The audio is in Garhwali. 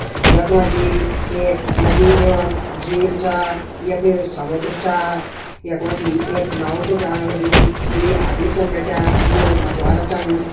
यख मजी एक नदी एवं झील छा य फिर समुद्र छा। यख मजी एक नाव च जाण लगीं दुई आदमी छन बैठियां। यौ मछवारा चन।